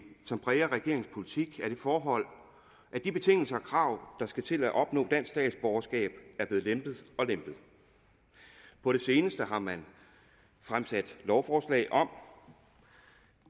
som præger regeringens politik er det forhold at de betingelser og krav der skal til at opnå dansk statsborgerskab er blevet lempet og lempet på det seneste har man fremsat lovforslag om